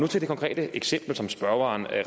til det konkrete eksempel som spørgeren